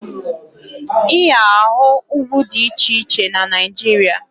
Ị ga-ahụ ugwu dị iche iche na Naịjirịa